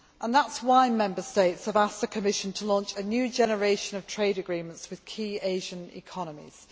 That is why Member States have asked the Commission to launch a new generation of trade agreements with key Asian economies.